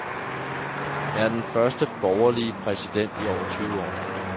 Han er den første borgerlige præsident i over tyve år.